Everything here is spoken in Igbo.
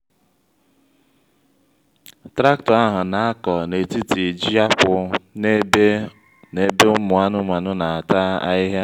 traktọ ahụ n'akọ n'etiti ji-akwụ n'ebe ụmụ anụmanụ n'ata ahịhịa